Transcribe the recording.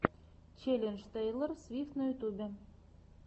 челлендж тейлор свифт на ютубе